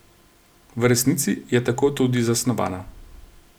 V resnici je tako tudi zasnovana.